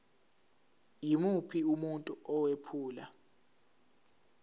yimuphi umuntu owephula